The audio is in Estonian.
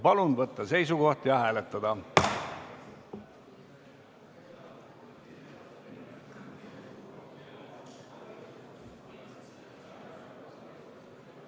Palun võtta seisukoht ja hääletada!